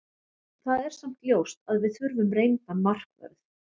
Það er samt ljóst að við þurfum reyndan markvörð.